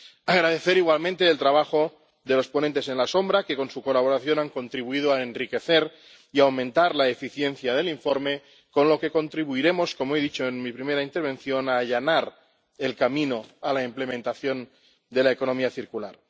Quiero agradecer igualmente el trabajo de los ponentes alternativos, que con su colaboración han contribuido a enriquecer y aumentar la eficiencia del informe, con lo que contribuiremos, como he dicho en mi primera intervención, a allanar el camino a la implementación de la economía circular.